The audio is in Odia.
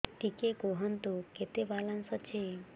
ଟିକେ କୁହନ୍ତୁ କେତେ ବାଲାନ୍ସ ଅଛି